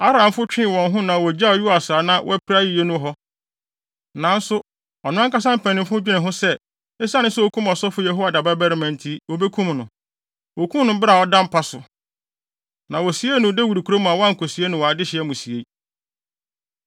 Aramfo twee wɔn ho na wogyaw Yoas a na wapira yiye no hɔ. Nanso ɔno ankasa mpanyimfo dwenee ho sɛ, esiane sɛ okum ɔsɔfo Yehoiada babarima nti, wobekum no. Wokum no bere a ɔda mpa so. Na wosiee no Dawid kurom a wɔankosie no wɔ adehye amusiei.